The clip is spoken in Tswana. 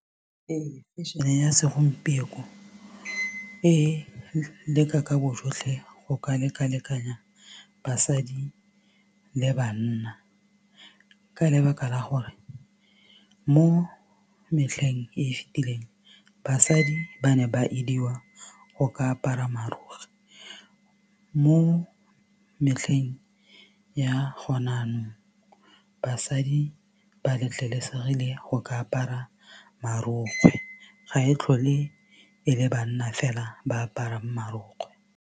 Ee fashion-e ya segompieko e leka ka bojotlhe go ka leka lekanya basadi le banna ka lebaka la gore mo metlheng e fitileng basadi ba ne ba ediwa go ka apara marokgwe mo metlheng ya gone jaanong basadi ba letlelesegile go ka apara marokgwe ga e tlhole e le banna fela ba aparang marokgwe.